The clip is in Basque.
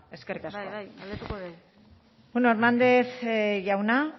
bale bada eskerrik asko bai bai bueno hernández jauna